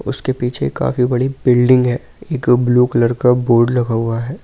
उसके पीछे काफी बड़ी बिल्डिंग है एक ब्लू कलर का बोर्ड लगा हुआ है ।